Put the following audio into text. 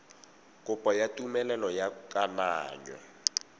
kopo ya tumelelo ya kananyo